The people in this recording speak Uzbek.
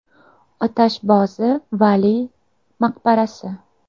Otashbozi Valiy maqbarasi.